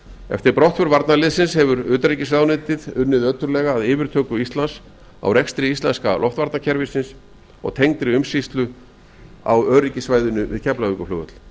eftir brottför varnarliðsins hefur utanríkisráðuneytið unnið ötullega að yfirtöku íslands á rekstri íselsnka loftvarnakerfisins og tengdri umsýslu á öryggissvæðinu við keflavíkurflugvöll